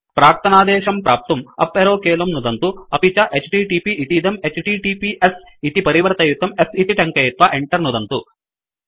प्राक्तनादेशं प्राप्तुं up arrow कीलं नुदन्तु अपि च एचटीटीपी इतीदं एचटीटीपीएस इति परिवर्तयितुं s इति टङ्कयित्वा Enter नुदन्तु